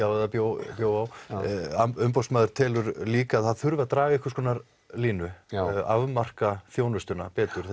á eða bjó bjó á umboðsmaður telur líka að það þurfi að draga einhvers konar línu afmarka þjónustuna betur